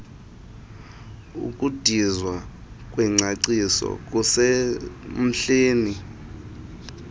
ukudizwa kwengcaciso kusemdleni